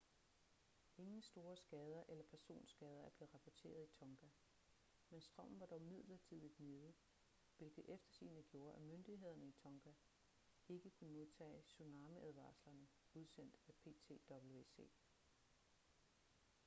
ingen store skader eller personskader er blevet rapporteret i tonga men strømmen var dog midlertidigt nede hvilket eftersigende gjorde at myndighederne i tonga ikke kunne modtage tsunamiadvarslerne udsendt af ptwc